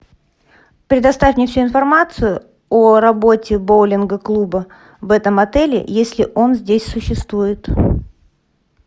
предоставь мне всю информацию о работе боулинга клуба в этом отеле если он здесь существует